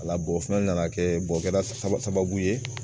Ala b'o fɛnɛ nana kɛ o kɛra sababu ye